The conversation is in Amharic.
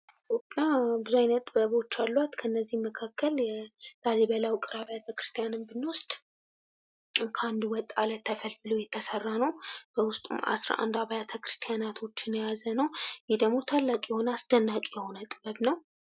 ኢትዮጵያ ብዙ አይነት ጥበቦች አሏት። ከነዚህም መካከል ላሊበላ ውቅር አብያተክርስቲያንን ብንወስድ ከአንድ ወጥ አለት ተፈልፍሎ የተሰራ ነው። በውስጡ አስራ አንድ አብያተክርስቲያናቶችን የያዘ ነው። ይህ ደግሞ ታላቅ የሆነ አስደናቂ የሆነ ጥበብ ነው።